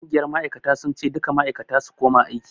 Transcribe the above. Ƙungiyar ma'aikata sun ce 'Duka ma'aikata su koma aiki'!